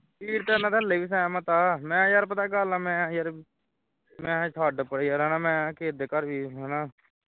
ਵੀਰ ਤੇ ਉਨ੍ਹਾਂ ਦਾ ਹਾਲੇ ਵੀ ਸਹਿਮਤ ਹਾਂ ਮੈਂ ਕਿਹਾ ਪਤਾ ਕੀ ਗੱਲਹਾਂ ਮੈਂ ਯਾਰ ਮੈਂ ਕਿਹਾ ਛੱਡ ਪਰ੍ਹੇ ਯਾਰ ਮੈਂ ਕਿਹਾ ਕਿਸੇ ਦੇ ਘਰ ਵੀ ਹੈ ਨਾ